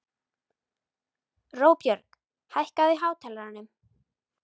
Róbjörg, hækkaðu í hátalaranum.